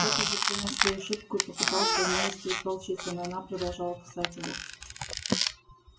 тот уже понял свою ошибку и попытался умилостивить волчицу но она продолжала кусать его